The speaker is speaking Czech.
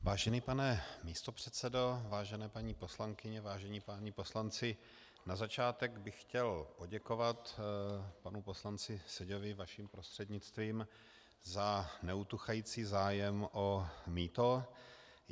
Vážený pane místopředsedo, vážené paní poslankyně, vážení páni poslanci, na začátek bych chtěl poděkovat panu poslanci Seďovi vaším prostřednictvím za neutuchající zájem o mýto.